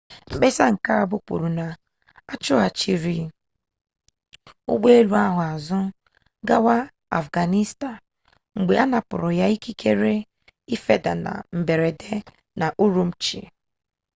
mkpesa mbụ kwuru na achụghachiri ụgbọelu ahụ azụ gawa afghanistan mgbe anapụrụ ya ikikere ịfeda na mberede n'ụrụmqi